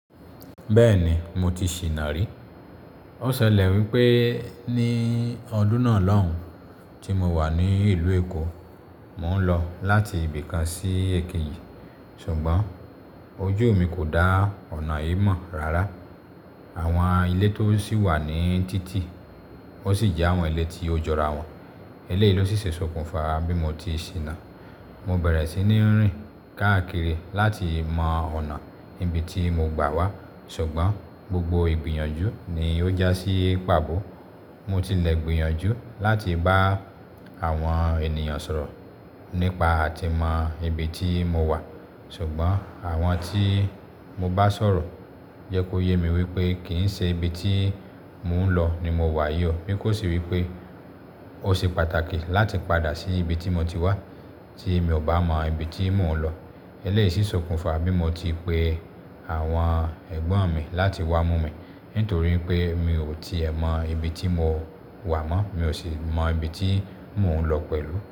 Bẹ́ẹ̀ni mo ti ṣìnà rí. Ó ṣẹlẹ̀ wípé ní ọdún náà lóhùn tí mo wà ní ìlú Èkó, mò ń lọ láti ibì kan sí èkejì, ṣùgbọ́n ojú mi kò dá ọ̀nà yìí mọ̀ rárá. Àwọn ilé tó sì wà ní títì, wọ́n sì jẹ́ àwọn ilé tí ó jọra wọn. Eléyìí ló sì ṣe ṣokùnfà bí mo ti ṣìnà. Mo bẹ̀rẹ̀ sí ní rìn káàkiri láti mọ ọ̀nà ibi tí mo gbà wá, ṣùgbọ́n gbogbo ìgbìyànjú ni ó já sí pàbọ́. Mo tilẹ̀ gbìyànjú láti bá àwọn ènìyàn sọ̀rọ̀ nípa àti mọ ibi tí mo wà, ṣùgbọ́n àwọn tí mo bá sọ̀rọ̀ jẹ́ kó yé mi wípé kì í ṣe ibi tí mò ń lọ ni mo wà yọ, bí kò sì wípé ó ṣe pàtàkì láti padà sí ibi tí mo ti wá tí mi ò bá mọ ibi tí mò ń lọ. Eléyìí sì ṣokùnfà bí mo ti pe àwọn ẹ̀gbọ́n mi láti wá mú mi, nítorípé mi ò tí è mọ ibi tí mo wà mọ́, mi ò sì mọ ibi tí mò ń lọ pẹ̀lú.